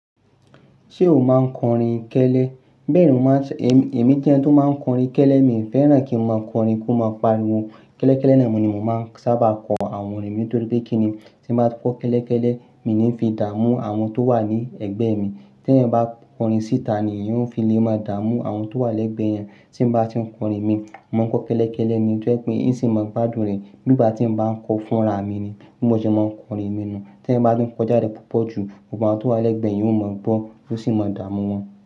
Ṣé o máa ń kọrin kẹ́lẹ́? Bẹ́ẹ̀ ni wọ́n máa ń ṣe. Èmi ti ń jẹ́ ẹni tó máa ń kọrin kẹ́lẹ́, mi ò fẹ́ràn kí n máa kọrin kó máa pariwo. Kẹ́lẹ́kẹ́lẹ́ ni mo ní mo máa ń sábà kọ àwọn orin mi nítorí pé kí ni tí n bá kọ́ kẹ́lẹ́kẹ́lẹ́, èmi ni fi dá mú àwọn tó wà ní ẹ̀gbẹ́ mi. Tí ẹni bá kọrin síta ni yóò fi lè máa dá mú àwọn tó wà lẹ́gbẹ̀ẹ́ yẹn. Tí n bá ti ń kọrin mi, mo máa ń kọ́ kẹ́lẹ́kẹ́lẹ́ ni tó ẹ́ pé ó sì máa ń gbádùn rẹ̀. Nígbà tí n bá ń kọ fúnra mi ni, bí mo ṣe máa ń kọrin mi nu. Tí n bá tún kọ jáde púpọ̀ jù, àwọn tó wà lẹ́gbẹ̀ẹ́ yẹn ó mọ̀ gbọ́ ó sì máa dá mú wọn.